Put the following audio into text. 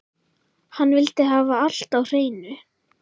Hann vildi hafa allt á hreinu.